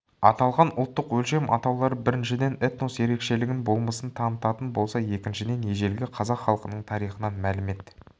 аталған ұлттық өлшем атаулары біріншіден этнос ерекшелігін болмысын танытатын болса екіншіден ежелгі қазақ халқының тарихынан мәлімет